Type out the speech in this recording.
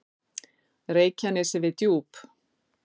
Reykjanesi við Djúp.